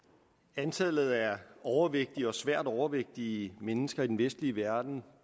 antallet af overvægtige og svært overvægtige mennesker i den vestlige verden